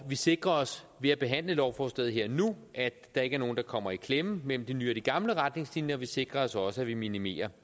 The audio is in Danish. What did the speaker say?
vi sikrer os ved at behandle lovforslaget her og nu at der ikke er nogen der kommer i klemme mellem de nye og de gamle retningslinjer vi sikrer os også at vi minimerer